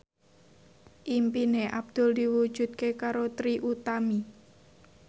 impine Abdul diwujudke karo Trie Utami